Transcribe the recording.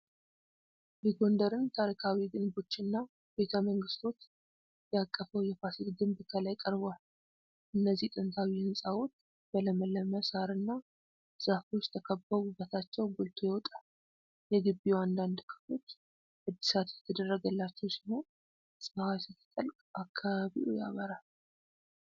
የጎንደርን ታሪካዊ ግንቦችና ቤተ መንግሥቶች ያቀፈው የፋሲል ግቢ ከላይ ቀርቧል። እነዚህ ጥንታዊ ሕንጻዎች በለመለመ ሣርና ዛፎች ተከብበው ውበታቸው ጎልቶ ይወጣል። የግቢው አንዳንድ ክፍሎች እድሳት እየተደረገላቸው ሲሆን፣ ፀሐይ ስትጠልቅ አካባቢው ያበራል።